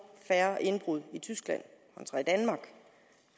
færre indbrud i tyskland